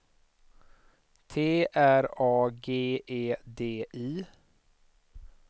T R A G E D I